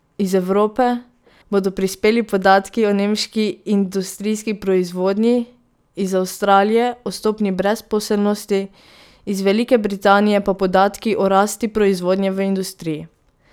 Iz Evrope bodo prispeli podatki o nemški industrijski proizvodnji, iz Avstralije o stopnji brezposelnosti, iz Velike Britanije pa podatki o rasti proizvodnje v industriji.